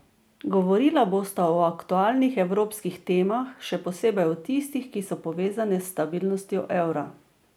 Govorila bosta o aktualnih evropskih temah, še posebej o tistih, ki so povezane s stabilnostjo evra.